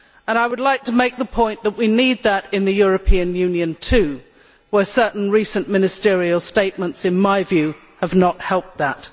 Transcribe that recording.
I would like to make the point that we need that in the European Union, too, where certain recent ministerial statements, in my view, have not helped that.